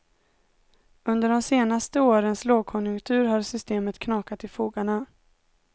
Under de senaste årens lågkonjunktur har systemet knakat i fogarna.